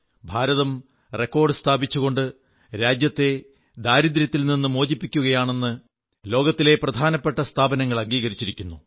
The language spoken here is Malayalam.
ഭാരതം റെക്കോർഡ് സ്ഥാപിച്ചുകൊണ്ട് രാജ്യത്തെ ദാരിദ്ര്യത്തിൽ നിന്ന് മോചിപ്പിക്കുകയാണെന്ന് ലോകത്തിലെ പ്രധാനപ്പെട്ട സ്ഥാപനങ്ങൾ അംഗീകരിച്ചിരിക്കുന്നു